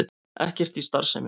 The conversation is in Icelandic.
Ekkert í starfsemi